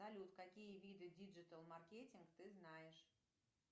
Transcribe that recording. салют какие виды диджитал маркетинг ты знаешь